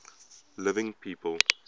living people